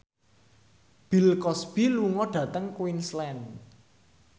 Bill Cosby lunga dhateng Queensland